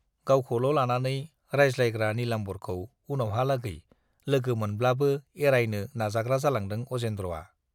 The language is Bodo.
गावखौल' लानानै रायज्लायग्रा नीलाम्बरखौ उनावहालागै लोगो मोनब्लाबो एरायनो नाजाग्रा जालांदों अजेन्द्रआ।